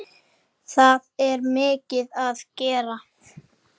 Það er mikið að gera.